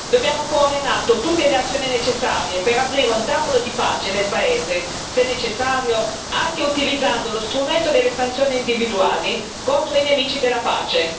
Dobbiamo porre in atto tutte le azioni necessarie per aprire un tavolo di pace nel paese, se necessario anche utilizzando lo strumento delle sanzioni individuali contro i nemici della pace.